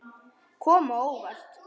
Kom á óvart.